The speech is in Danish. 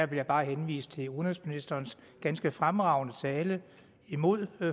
vil jeg bare henvise til udenrigsministerens ganske fremragende tale imod